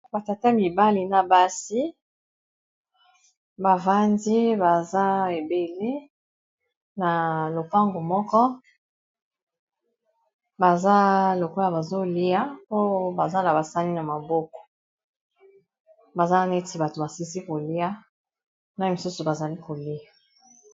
batata mibali na basi bavandi baza ebele na lopango moko baza lokola bazolia po baza na basani na maboko baza neti bato basisi kolia na misusu bazali kolia